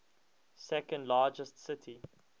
second largest city